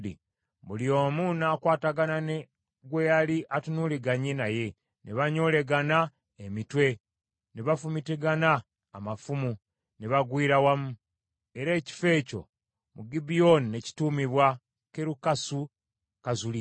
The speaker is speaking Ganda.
Buli omu n’akwatagana ne gwe yali atunuuliganye naye, ne banyolegana emitwe, ne bafumitigana amafumu, ne bagwira wamu. Era ekifo ekyo mu Gibyoni ne kituumibwa Kerukasu-Kazzulimu.